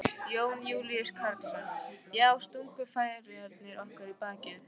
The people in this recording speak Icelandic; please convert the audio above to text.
Jón Júlíus Karlsson: Já, stungu Færeyingar okkur í bakið?